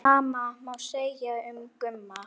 Sama má segja um Gumma.